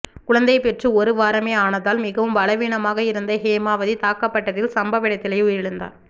குழந்தை பெற்று ஒரு வாரமே ஆனதால் மிகவும் பலவீனமாக இருந்த ஹேமாவதி தாக்கப்பட்டதில் சம்பவ இடத்திலேயே உயிரிழந்தார்